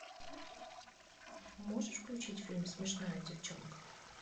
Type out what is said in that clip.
можешь включить фильм смешная девчонка